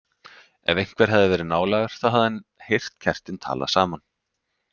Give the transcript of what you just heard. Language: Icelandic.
Ef einhver hefði verið nálægur þá hefði hann heyrt kertin tala saman.